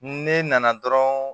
Ne nana dɔrɔn